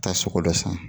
Taa sogo dɔ san